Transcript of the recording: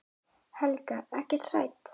Helga: Ekkert hrædd?